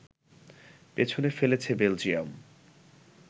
পেছনে ফেলেছে বেলজিয়াম